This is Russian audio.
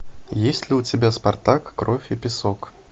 есть ли у тебя спартак кровь и песок